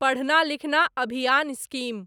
पढ़ना लिखना अभियान स्कीम